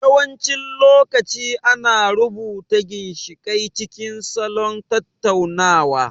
Yawancin lokaci ana rubuta ginshiƙai cikin salon tattaunawa.